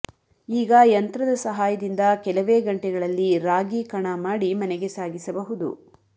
ಈಗ ಯಂತ್ರದ ಸಹಾಯದಿಂದ ಕೆಲವೇ ಗಂಟೆಗಳಲ್ಲಿ ರಾಗಿ ಕಣ ಮಾಡಿ ಮನೆಗೆ ಸಾಗಿಸಬಹುದು